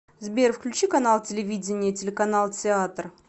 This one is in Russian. сбер включи канал телевидения телеканал театр